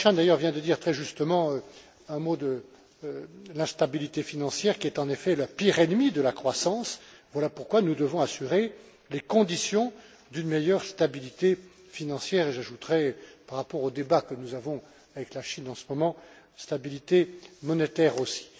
Cancian vient d'ailleurs de dire très justement un mot sur l'instabilité financière qui est, en effet, la pire ennemie de la croissance. Voilà pourquoi nous devons assurer les conditions d'une meilleure stabilité financière, et j'ajouterai, par rapport au débat que nous avons avec la Chine en ce moment, stabilité monétaire aussi.